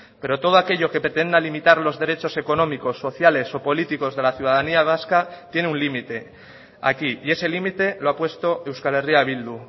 pero todo aquello que pretenda limitar los derechos económicos sociales o políticos de la ciudadanía vasca tiene un límite aquí y ese límite lo ha puesto euskal herria bildu